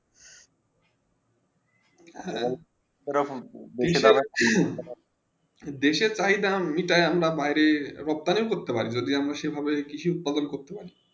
হেঁ তার পরে দেশে তাই জানো তালে বাইরে রকথামে করতে পারি সেই ভাবে কৃষি উৎপাদন করতে পারি